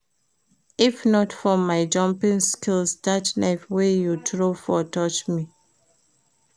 If not for my jumping skills dat knife wey you throw for touch me